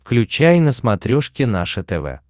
включай на смотрешке наше тв